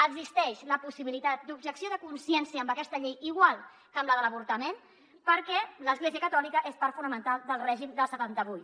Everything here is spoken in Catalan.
existeix la possibilitat d’objecció de consciència amb aquesta llei igual que amb la de l’avortament perquè l’església catòlica és part fonamental del règim del setanta vuit